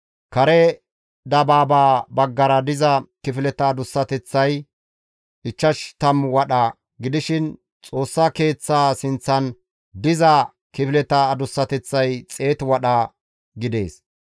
Kare dabaabaa baggara diza kifileta adussateththay ichchash tammu wadha gidishin Xoossa Keeththaa sinththan diza kifileta adussateththay xeetu wadha gidees.